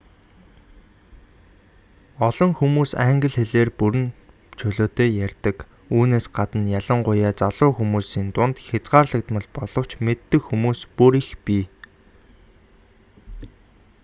олон үндэстэн англи хэлээр бүрэн чөлөөтэй ярьдаг үүнээс гадна ялангуяа залуу хүмүүсийн дунд хязгаарлагдмал боловч мэддэг хүмүүс бүр их бий